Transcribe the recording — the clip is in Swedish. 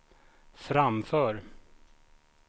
framför